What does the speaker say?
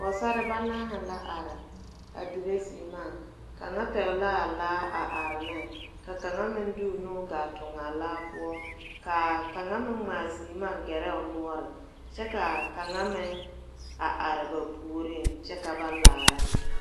Pɔgsarre banaare la a arẽ dire seɛmaã kanga pɛgle a laa a arẽ ning ka kanga meng de ɔ nu a tunngaa laa pou kaa kanga meng ngaa seɛmaã gerɛ ne ɔ nɔɔri kye ka kanga meng a arẽ ba pouring kye ka ba laaraa.